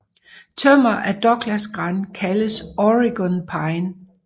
Tømmer af Douglasgran kaldes Oregon pine